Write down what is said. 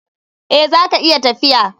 Eh, zaka iya tafiya.